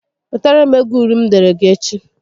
Wetara m égo uri m deere gị echi